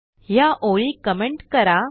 ह्या ओळी कमेंट करा